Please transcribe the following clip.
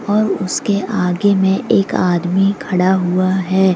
और उसके आगे में एक आदमी खड़ा हुआ है।